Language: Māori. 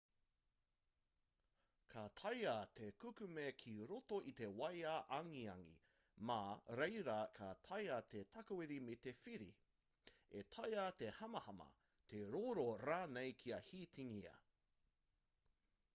ka taea te kukume ki roto i te waea angiangi mā reira ka taea te takawiri me te whiri e taea te hamahama te rōra rānei kia hītingia